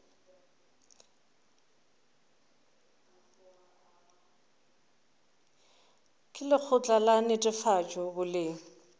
ke lekgotla la netefatšo boleng